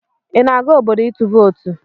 Ị na-aga obodo itụ vootu?